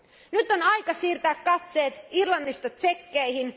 Nyt on aika siirtää katseet Irlannista Tšekkeihin.